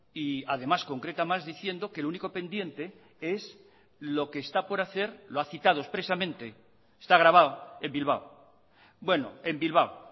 y además concreta más diciendo que el único pendiente es lo que está por hacer lo ha citado expresamente está grabado en bilbao bueno en bilbao